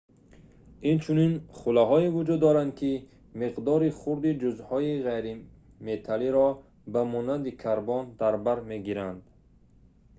инчунин хӯлаҳое вуҷуд доранд ки миқдори хурди ҷузъҳои ғайриметаллиро ба монанди карбон дар бар мегиранд